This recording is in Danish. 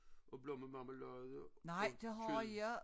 Og blommemarmelade og kød